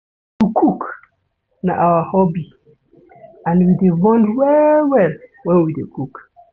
To cook na our hobby and we dey bond well-well wen we dey cook.